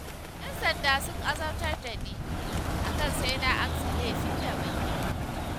Y'an sanda sun azabtar da ni, akan sai na amsa laifin da ban yi ba.